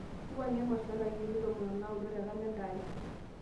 wuangie emasho o ntarikini tomon o naudo te kalenda aai